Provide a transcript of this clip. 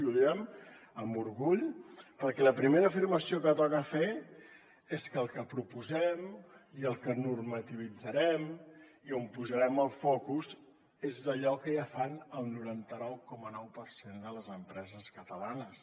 i ho diem amb orgull perquè la primera afirmació que toca fer és que el que proposem i el que normativitzarem i on posarem el focus és en allò que ja fan el noranta nou coma nou per cent de les empreses catalanes